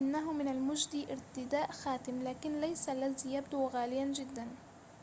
إنه من المجدي ارتداء خاتم لكن ليس الذي يبدو غالياً جداً